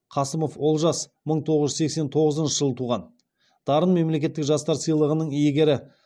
қасымов олжас мың тоғыз жүз сексен тоғызыншы жылы туған дарын мемлекеттік жастар сыйлығының иегері